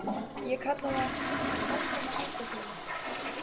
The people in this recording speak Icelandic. Ég kalla það: Um ósóma aldar sinnar